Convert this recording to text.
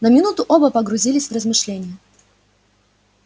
на минуту оба погрузились в размышления